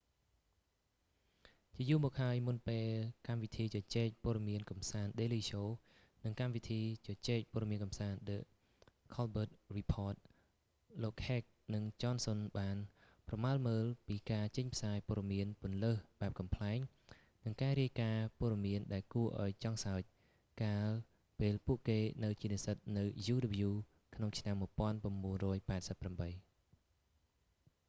ជាយូរមកហើយមុនពេលកម្មវិធីជជែកព័ត៌មានកម្សាន្ត daily show និងកម្មវិធីជជែកព័ត៌មានកម្សាន្ត the colbert report លោកហេកនិងចនសុនបានប្រមើលមើលពីការចេញផ្សាយព័ត៌មានពន្លើសបែបកំប្លែងនិងការរាយការណ៍ព័ត៌មានដែលគួរឱ្យចង់សើចកាលពេលពួកគេនៅជានិស្សិតនៅ uw ក្នុងឆ្នាំ 1988